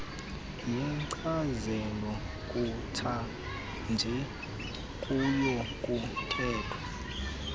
yenkcazelo yakutshanje kuyakuthathwa